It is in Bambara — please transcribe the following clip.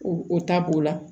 O o ta b'o la